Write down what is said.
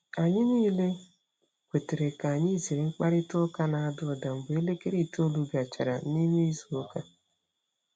Anyị niile kwetara ka anyị zere mkparịta ụka na-ada ụda mgbe elekere itoolu gachara. n'ịme izu ụka.